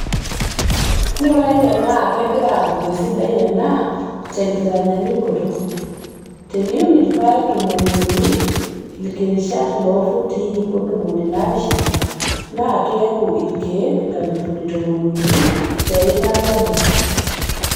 Ng'urai tenaa kegira aapuku esidai anaa tenkitanyaanyuoto teniun ilpayek tomoniuni too ilkirishat loofutii iip ontomoni naapishana, naa keeku ilkeek nkalifuni tomoniuni teikaa nabo.